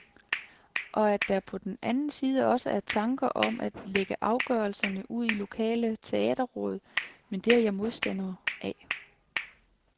Og at der på den anden side også er tanker om at lægge afgørelserne ud i lokale teaterråd, men det er jeg modstander af.